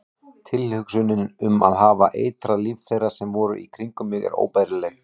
Tilhugsunin um að hafa eitrað líf þeirra sem voru í kringum mig er óbærileg.